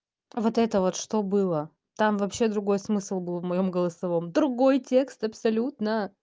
вот это вот что было там вообще другой смысл был в моем голосовом другой текст абсолютно